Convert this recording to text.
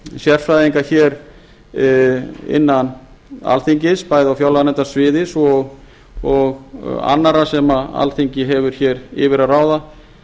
sérfræðinga innan alþingis bæði á fjárlaganefndarsviði svo og annarra sem alþingi hefur yfir að ráða